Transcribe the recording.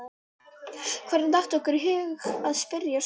Hvernig datt okkur í hug að spyrja svona!